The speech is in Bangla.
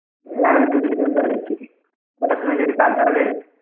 হ্যাঁ আমিতো যেতাম তাহলে । কটার সময় যাবি কাল তাহলে?